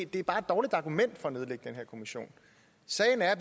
det er bare et dårligt argument for at nedlægge den her kommission sagen er at